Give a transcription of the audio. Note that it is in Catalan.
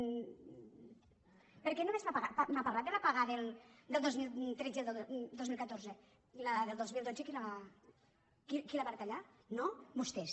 per què només m’ha parlat de les pagues del dos mil tretze i el dos mil catorze i la del dos mil dotze qui la va reta·llar no vostès